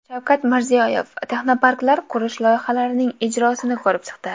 Shavkat Mirziyoyev texnoparklar qurish loyihalarining ijrosini ko‘rib chiqdi.